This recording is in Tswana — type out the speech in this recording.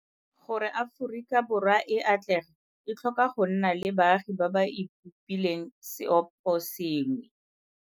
Gore Aforika Borwa e atlege e tlhoka go nna le baagi ba ba ipopileng seoposengwe.